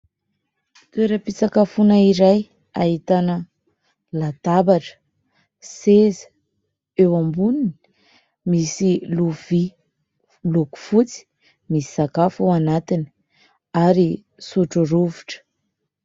Toeram-pitsakafoana iray ahitana: latabatra, seza, eo amboniny misy lovia miloko fotsy, misy sakafo ao anatiny ary sotro rovitra.